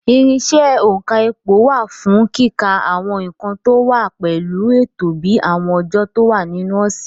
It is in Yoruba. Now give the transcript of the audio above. Irinṣẹ́ òǹkà ipò wà fún kíka àwọn nǹkan tó wá pẹ̀lú ètò bíi àwọn ọjọ́ tó wà nínú ọ̀sẹ̀.